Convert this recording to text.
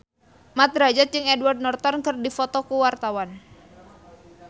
Mat Drajat jeung Edward Norton keur dipoto ku wartawan